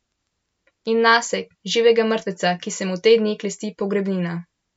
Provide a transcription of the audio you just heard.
In nase, živega mrtveca, ki se mu te dni klesti pogrebnina.